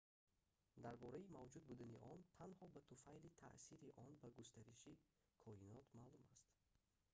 дар бораи мавҷуд будани он танҳо ба туфайли таъсири он ба густариши коинот маълум аст